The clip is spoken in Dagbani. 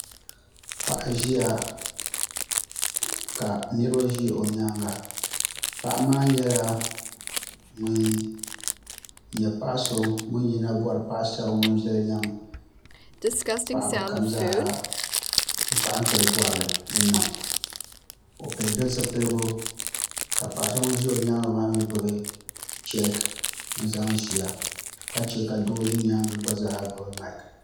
Paɣa ʒɛya ka niraba ʒɛ o nyaanga paɣa maa nyɛla ŋun nyɛ paɣa so ŋun yuna bori paɣa so ŋun viɛli gari paɣaba kam zaaha n kpaantiri bori di nam o pili di zipiligu ka paɣa so ŋun ʒi o nyaangi mii gbubi cheek n zaŋ ʒiya ka chɛ ka do so gba zaa gbubi maik